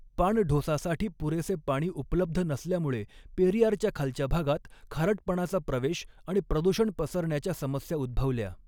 पाणढोसासाठी पुरेसे पाणी उपलब्ध नसल्यामुळे पेरियारच्या खालच्या भागात खारटपणाचा प्रवेश आणि प्रदूषण पसरण्याच्या समस्या उद्भवल्या.